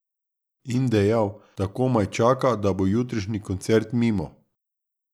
In dejal, da komaj čaka, da bo jutrišnji koncert mimo.